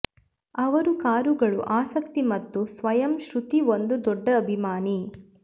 ಅವರು ಕಾರುಗಳು ಆಸಕ್ತಿ ಮತ್ತು ಸ್ವಯಂ ಶ್ರುತಿ ಒಂದು ದೊಡ್ಡ ಅಭಿಮಾನಿ